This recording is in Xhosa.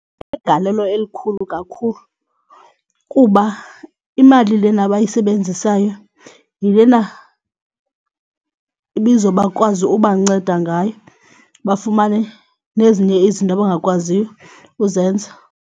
Inegalelo elikhulu kakhulu kuba imali lena abayisebenzisayo yilena ibizo bakwazi ubanceda ngayo bafumane nezinye izinto abangakwaziyo uzenza.